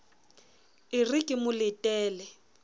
e re ke mo letele